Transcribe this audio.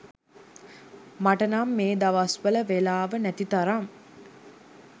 මට නම් මේ දවස්වල වේලාව නැති තරම්.